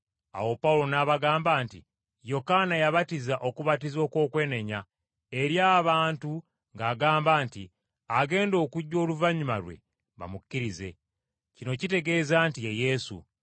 Awo Pawulo n’abagamba nti, “Yokaana yabatiza okubatiza okw’okwenenya eri abantu ng’agamba nti agenda okujja oluvannyuma lwe bamukkirize. Kino kitegeeza nti ye Yesu.”